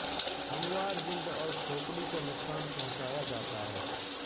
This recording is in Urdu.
ہموار جلد اور کھوپڑی کو نقصان پہنچایا جاتا ہے